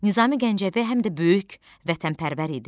Nizami Gəncəvi həm də böyük vətənpərvər idi.